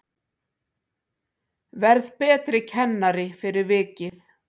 Verð betri kennari fyrir vikið